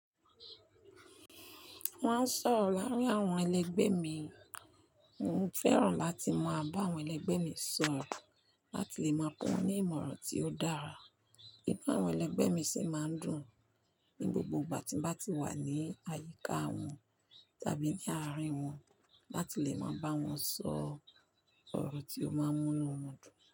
Wọ́n á sọ̀rọ̀ láàárín àwọn ẹlẹgbẹ́ mi. Mo fẹ́ràn láti máa bá àwọn ẹlẹgbẹ́ mi sọ̀rọ̀ láti lè máa kọ́ wọn ní ìmọ̀ràn tí ó dára. Inú àwọn ẹlẹgbẹ́ mi sì máa ń dùn ní gbogbo ìgbà tí mo bá ti wà ní àyíká wọn tàbí ní àárín wọn láti lè máa bá wọn sọ ọ̀rọ̀ tí ó máa ń múnú wọn dùn.